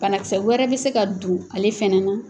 Banakisɛ wɛrɛ bɛ se ka don ale fɛnɛ na.